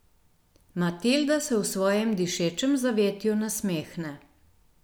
Matilda se v svojem dišečem zavetju nasmehne.